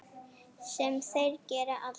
Sem þeir gera aldrei!